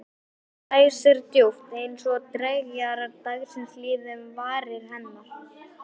Dæsir djúpt- eins og dreggjar dagsins líði um varir hennar.